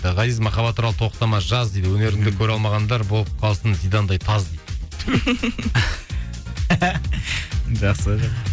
ғазиз махаббат туралы тоқтама жаз дейді өнеріңді көре алмағандар болып қалсын зидандай таз дейді